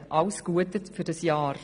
Alles Gute für dieses Jahr!